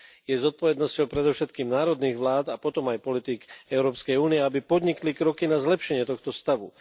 Je zodpovednosťou predovšetkým národných vlád a potom aj politík Európskej únie, aby podnikli kroky na zlepšenie tohto stavu.